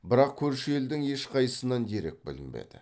бірақ көрші елдің ешқайсысынан дерек білінбеді